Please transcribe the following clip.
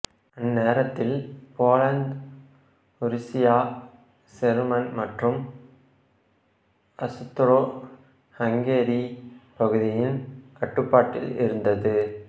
அந்நேரத்தில் Poland Russia German மற்றும் Austro Hungary பகுதியின் கட்டுப்பாட்டில் இருந்தது